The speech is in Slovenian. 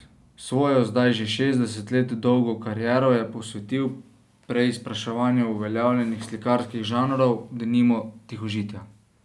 Svojo, zdaj že šestdeset let dolgo kariero je posvetil preizpraševanju uveljavljenih slikarskih žanrov, denimo tihožitja.